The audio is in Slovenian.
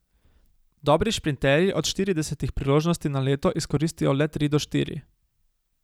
Dobri šprinterji od štiridesetih priložnosti na leto izkoristijo le tri do štiri.